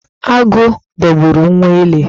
Agụ dogburu nwa ele.